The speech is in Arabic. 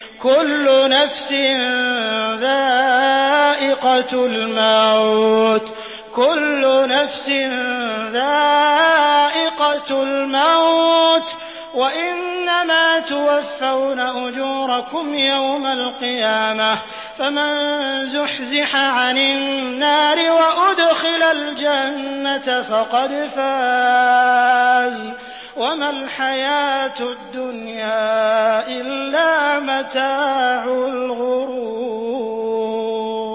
كُلُّ نَفْسٍ ذَائِقَةُ الْمَوْتِ ۗ وَإِنَّمَا تُوَفَّوْنَ أُجُورَكُمْ يَوْمَ الْقِيَامَةِ ۖ فَمَن زُحْزِحَ عَنِ النَّارِ وَأُدْخِلَ الْجَنَّةَ فَقَدْ فَازَ ۗ وَمَا الْحَيَاةُ الدُّنْيَا إِلَّا مَتَاعُ الْغُرُورِ